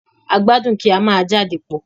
A gbadun kí a má jade pọ.